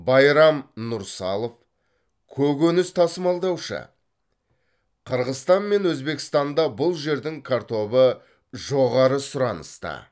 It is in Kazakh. байрам нұрсалов көкөніс тасымалдаушы қырғызстан мен өзбекстанда бұл жердің картобы жоғары сұраныста